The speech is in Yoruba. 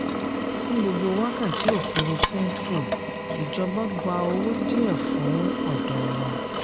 fún gbogbo wákàtí òfúrufú ń fò ìjọba gba owó díẹ̀ fún ọ̀dọ̀ wọn.